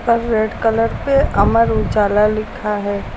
पर red colour पे अमर उजाला लिखा है।